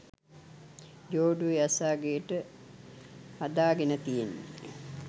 ජෝඩුව යස අගේට හදා ගෙන තියෙන්නෙ.